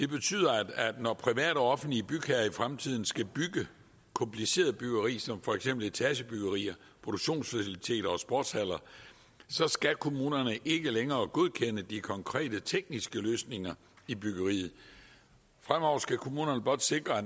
betyder at når private og offentlige bygherrer i fremtiden skal bygge kompliceret byggeri som for eksempel etagebyggerier produktionsfaciliteter og sportshaller skal kommunerne ikke længere godkende de konkrete tekniske løsninger i byggeriet fremover skal kommunerne blot sikre at